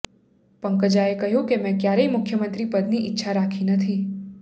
પંકજાએ કહ્યું કે મેં ક્યારેય મુખ્યમંત્રી પદની ઇચ્છા રાખી નથી